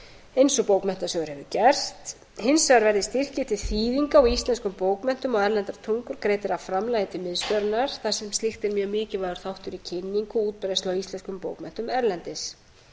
og bókmenntasjóður hefur gert hins vegar verði styrkir til þýðing á íslenskum bókmenntum á erlendum tungum greiddir af framlagi til liðs þar sem slíkt er mjög mikilvægur þáttur í kynningu og útbreiðslu á íslenskum bókmenntum erlendis